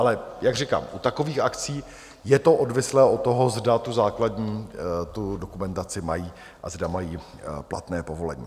Ale jak říkám, u takových akcí je to odvislé od toho, zda tu základní dokumentaci mají a zda mají platné povolení.